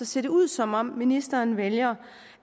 ser det ud som om ministeren vælger